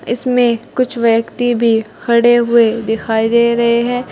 इसमें कुछ व्यक्ति भी खड़े हुए दिखाई दे रहे हैं।